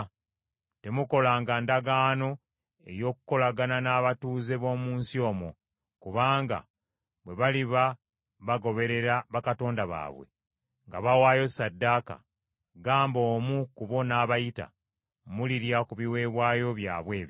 “Temukolanga ndagaano ey’okukolagana n’abatuuze b’omu nsi omwo. Kubanga bwe baliba bagoberera bakatonda baabwe, nga bawaayo ssaddaaka, gamba omu ku bo n’abayita, mulirya ku biweebwayo byabwe ebyo.